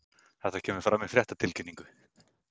Þetta kemur fram í fréttatilkynningu